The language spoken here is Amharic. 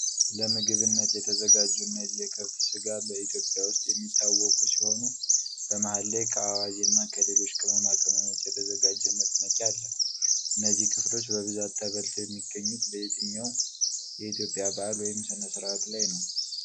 ለምግብነት የተዘጋጁ እነዚህ የከብት ስጋ በኢትዮጵያ ውስጥ የሚታወቁ ሲሆኑ በመሃል ላይ ከአዋዜ እና ከሌሎች ቅመማ ቅመሞች የተዘጋጀ መጥመቂያ አለ። እነዚህ ክፍሎች በብዛት ተበልተው የሚገኙት በየትኛው የኢትዮጵያ በዓል ወይም ሥነ-ሥርዓት ላይ ነው?